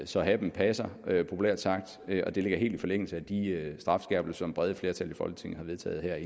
så hatten passer populært sagt og det ligger helt i forlængelse af de strafskærpelser som det brede flertal i folketinget har vedtaget